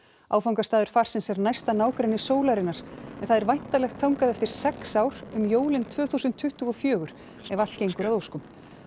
áfangastaður farsins er næsta nágrenni sólarinnar en það er væntanlegt þangað eftir sex ár um jólin tvö þúsund tuttugu og fjögur ef allt gengur að óskum